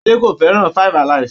Adé kò fẹ́ràn 5-alive.